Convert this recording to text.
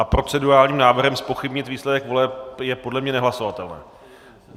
A procedurálním návrhem zpochybnit výsledek voleb je podle mě nehlasovatelné.